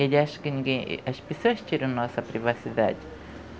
Ele acha que ninguém, as pessoas tiram nossa privacidade.